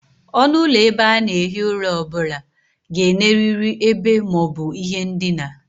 Onu ulo ebe a na-ehi ura o bula ga-eneriri ebe ma o bu ihe ndina